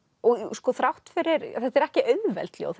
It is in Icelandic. sko þrátt fyrir þetta eru ekki auðveld ljóð